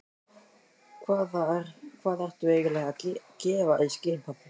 Hvað ertu eiginlega að gefa í skyn, pabbi?